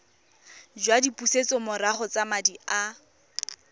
jwa dipusetsomorago tsa madi a